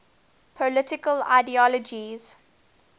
political ideologies